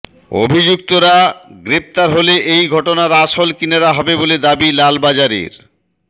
অভিযুক্তরা গ্রেপ্তার হলে এই ঘটনার আসল কিনারা হবে বলে দাবি লালবাজারের